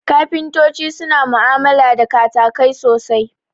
Kafintoti suna mu'amala da katakai sosai